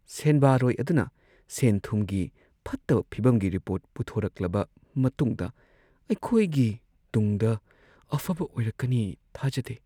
ꯁꯦꯟꯕꯥꯔꯣꯏ ꯑꯗꯨꯅ ꯁꯦꯟ-ꯊꯨꯝꯒꯤ ꯐꯠꯇꯕ ꯐꯤꯚꯝꯒꯤ ꯔꯤꯄꯣꯔꯠ ꯄꯨꯊꯣꯔꯛꯂꯕ ꯃꯇꯨꯡꯗ ꯑꯩꯈꯣꯏꯒꯤ ꯇꯨꯡꯗ ꯑꯐꯕ ꯑꯣꯏꯔꯛꯀꯅꯤ ꯊꯥꯖꯗꯦ ꯫